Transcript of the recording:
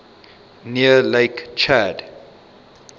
near lake chad